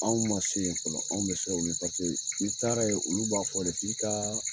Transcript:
Anw ma se yen fɔlɔ anw be siran u yen paseke n' i taara yen olu b'a fɔ de k'i ka